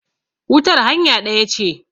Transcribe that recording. wutar hanya ɗaya ce